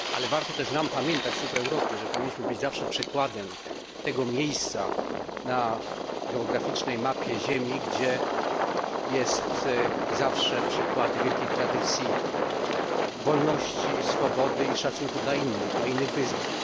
Warto też nam pamiętać tu w Europie, że powinniśmy być zawsze przykładem tego miejsca na geograficznej mapie Ziemi, które pozostaje przykładem wielkiej tradycji, wolności, swobody i szacunku dla innych wyznań.